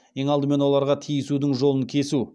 ең алдымен оларға тиісудің жолын кесу